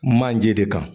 Manje de kan